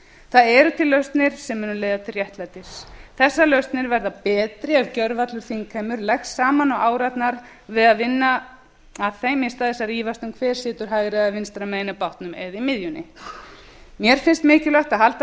það eru til lausnir sem munu leiða til réttlætis þessa lausnir verða betri ef gjörvallur þingheimur leggst saman á árarnar við að vinna að þeim í stað þess að rífast um hver situr hægra eða vinstra megin í bátnum eða í miðjunni mér finnst líka mikilvægt að halda